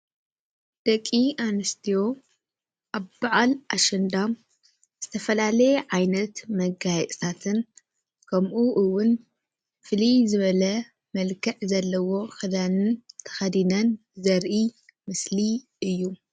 ደቂ እንስትዮ ኣብ በዓል ኣሸንዳ ዝተፈላለየ ዓይነት መጋየፅታትን ከመኡ እውን ፍልይ ዝበለ መልክዕ ዘለዎ ክዳንን ተከዲነን ዘረኢ ምስሊ እዩ።